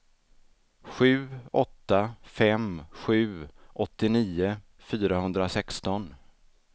sju åtta fem sju åttionio fyrahundrasexton